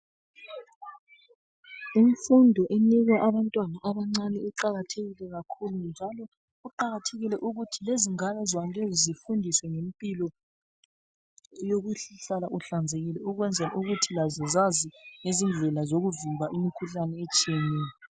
Imfundo enikwa abantwana abancane iqalathekile kakhulu njalo kuqakathekile ukuthi lezingane zona lezi zifundiswe impilo yokuhlala uhlanzekile ukwenza ukuthi zazi izindlela yokuvimba imikhuhlane etshiyeneyo.